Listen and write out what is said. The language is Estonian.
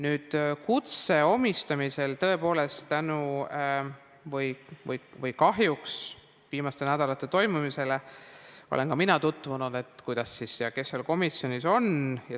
Tõepoolest, tänu viimastel nädalatel toimunule või selle tõttu, mis kahjuks toimus, olen ka mina tutvunud sellega, kes seal komisjonis on.